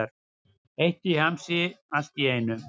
Heitt í hamsi allt í einu.